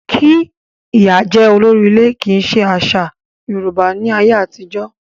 Kí ìyá jẹ́ olórí ilé kì í ṣe àṣà Yorùbá ní ayé àtijọ́.